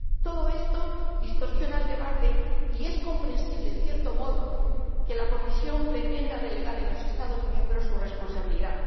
Todo esto distorsiona el debate, y es comprensible, en cierto modo, que la Comisión pretenda delegar en los Estados miembros su responsabilidad.